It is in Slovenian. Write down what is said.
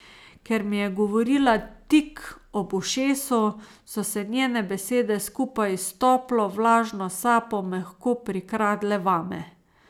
Ker mi je govorila tik ob ušesu, so se njene besede skupaj s toplo, vlažno sapo mehko prikradle vame.